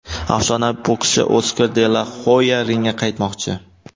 Afsonaviy bokschi Oskar de la Hoya ringga qaytmoqchi !